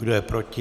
Kdo je proti?